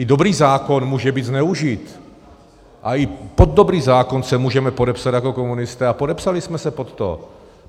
I dobrý zákon může být zneužit a i pod dobrý zákon se můžeme podepsat jako komunisté a podepsali jsme se pod to.